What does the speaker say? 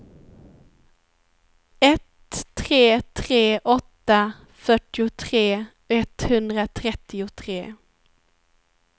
ett tre tre åtta fyrtiotre etthundratrettiotre